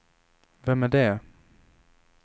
vem är det